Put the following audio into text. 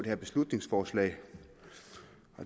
her beslutningsforslag